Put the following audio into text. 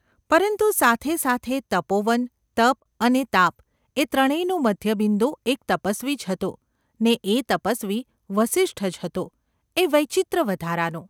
પરંતુ સાથે સાથે તપોવન, તપ, અને તાપ એ ત્રણેનું મધ્યબિંદુ એક તપસ્વી જ હતો ને એ તપસ્વી વસિષ્ઠ જ હતો એ વૈચિત્ર્ય વધારાનું !